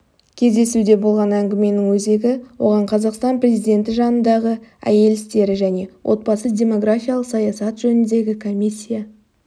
кездесуде болған әңгіменің өзегі оған қазақстан президенті жанындағы әйел істері және отбасы-демографиялық саясат жөніндегі комиссия